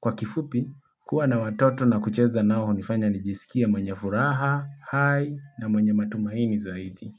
Kwa kifupi, kuwa na watoto na kucheza nao hunifanya nijisikie mwenye furaha, hai na mwenye matumaini zaidi.